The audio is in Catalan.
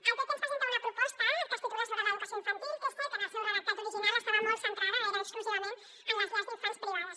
el pp ens presenta una proposta sobre l’educació infantil que és cert que en el seu redactat original estava molt centrada gairebé exclusivament en les llars d’infants privades